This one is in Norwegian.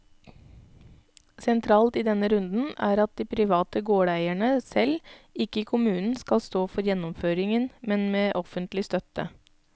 Sentralt i denne runden er at de private gårdeierne selv, ikke kommunen, skal stå for gjennomføringen, men med offentlig støtte.